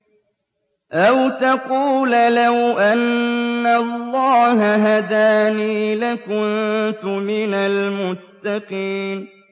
أَوْ تَقُولَ لَوْ أَنَّ اللَّهَ هَدَانِي لَكُنتُ مِنَ الْمُتَّقِينَ